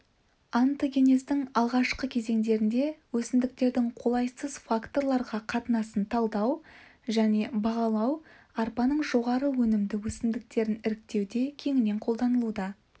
онтогенездің алғашқы кезеңдерінде өсімдіктің қолайсыз факторларға қатынасын талдау және бағалау арпаның жоғары өнімді өсімдіктерін іріктеуде кеңінен қолданылуда